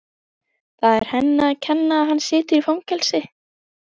Það er henni að kenna að hann situr í fangelsi.